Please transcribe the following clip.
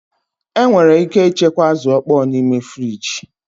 Enwere ike ịchekwa azụ̀ ọkpọọ n'ime friji